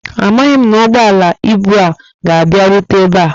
Amaghị m ma ụgbọala ibu a ga abia rute ebe a